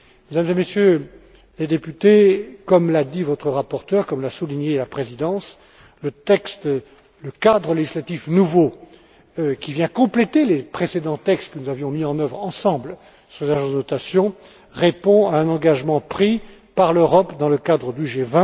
Mesdames et Messieurs les députés, comme l'a dit votre rapporteur et comme l'a souligné la présidence, le cadre législatif nouveau, qui vient compléter les précédents textes que nous avions mis en œuvre ensemble sur les agences de notation, répond à un engagement pris par l'Europe, dans le cadre du